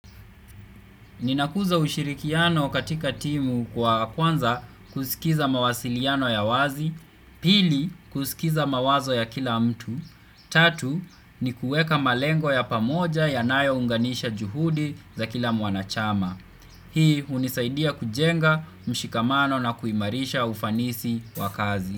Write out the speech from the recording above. Ninakuza ushirikiano katika timu kwa kwanza kusikiza mawasiliano ya wazi, pili kusikiza mawazo ya kila mtu, tatu ni kueka malengo ya pamoja ya nayo unganisha juhudi za kila mwanachama. Hii hunisaidia kujenga mshikamano na kuimarisha ufanisi wakazi.